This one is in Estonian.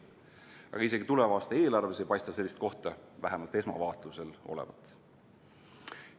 Aga isegi tuleva aasta eelarves ei paista sellist kohta vähemalt esmavaatlusel olevat.